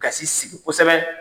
Ka sinsin kosɛbɛ.